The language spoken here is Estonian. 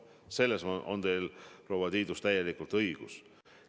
Selles on teil, proua Tiidus, täielikult õigus.